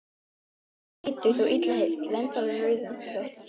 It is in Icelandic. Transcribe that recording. Hrossið var skítugt og illa hirt og lendarnar rauðröndóttar.